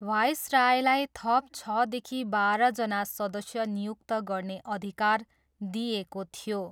भाइसरायलाई थप छदेखि बाह्रजना सदस्य नियुक्त गर्ने अधिकार दिइएको थियो।